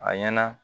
A ɲɛna